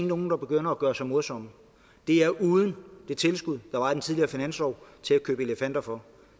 nogen begynder at gøre sig morsom det er uden det tilskud der var i den tidligere finanslov til at købe elefanter for